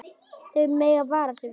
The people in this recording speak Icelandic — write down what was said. Þau mega vara sig.